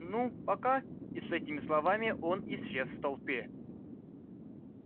ну пока и с этими словами он исчез в толпе